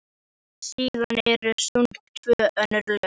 Síðan eru sungin tvö önnur lög sem allir kunna.